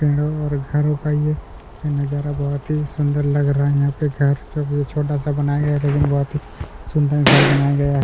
पेड़ो और घरों का ये ये नज़ारा बहुत ही सुंदर लग रहा है यहाँ पे घर जो भी छोटा सा बनाया गया हैं लेकिन बहुत ही सुंदर घर बनाया गया है।